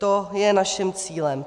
To je naším cílem.